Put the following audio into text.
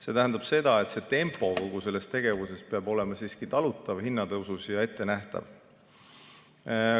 See tähendab seda, et kogu selle tegevuse tempo peab olema siiski hinnatõusu mõttes talutav ja ettenähtav.